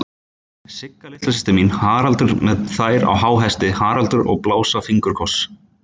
Sigga litla systir mín, Haraldur með þær á háhesti, Haraldur að blása fingurkoss.